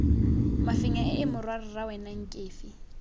mafenya ee morwarra wena nkefi